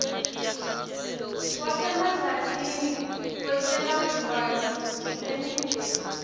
wasemajajini wetebantfwana nemindeni